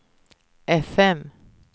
fm